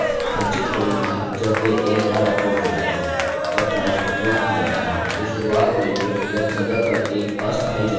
जब files upload की जाती हैं तो शुरुआत में वे वेब सर्वर पर एक अस्थायी जगह पर चली जाती हैं नाकि इस फोल्डर में